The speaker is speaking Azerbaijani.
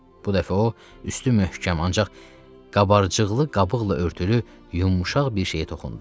Bu dəfə o üstü möhkəm ancaq qabarcıqlı qabıqla örtülü yumşaq bir şeyə toxundu.